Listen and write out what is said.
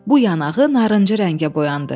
Bu yanağı narıncı rəngə boyandı.